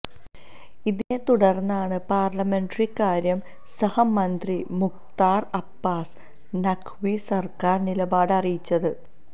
ഇതിനെത്തുടര്ന്നാണ് പാര്ലമെന്ററികാര്യ സഹമന്ത്രി മുഖ്താര് അബ്ബാസ് നഖ് വി സര്ക്കാര് നിലപാട് അറിയിച്ചത്